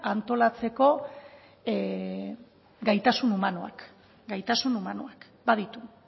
antolatzeko gaitasun humanoak baditu